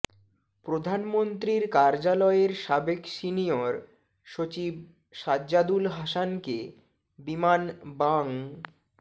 প্রধানমন্ত্রীর কার্যালয়ের সাবেক সিনিয়র সচিব সাজ্জাদুল হাসানকে বিমান বাং